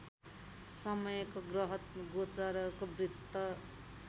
समयको ग्रहगोचरको वृत्त